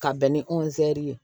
Ka bɛn ni ozɛri ye